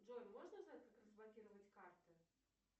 джой можно узнать как разблокировать карты